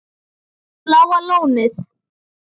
Bláa Lónið